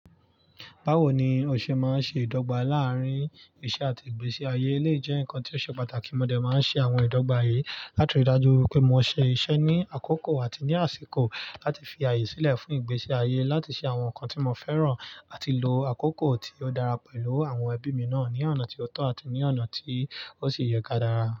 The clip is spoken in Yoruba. Báwo ni o ṣe máa n ṣe ìdọ́gba láàrín iṣẹ́ àti ìgbésí ayé elèyi jẹ́ nǹkan tí ó ṣe pàtàkì. Mọ̀ dẹ máa n ṣe àwọn ìdọ́gba yìí láti rí i dájú pé mo ṣe iṣẹ́ ní àkókò àti ní àsìkò láti fi ààyè sílẹ̀ fún ìgbésí ayé, láti ṣe àwọn nǹkan tí mo fẹ́ràn, àti lo àkókò tí ó dára pẹ̀lú àwọn ẹbí mi náà ní ọ̀nà tí ó tọ́ àti ní ọ̀nà tí ó sì yẹ ká dára.